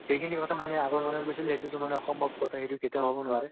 সেইখিনি কথা মানে আগৰ মনুহ কৈছিল হেইটো ত মানে অসম্ভৱ কথা এটো কেতিয়া হব নোৱৰে